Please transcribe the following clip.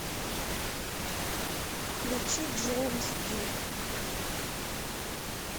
включи джеймс дин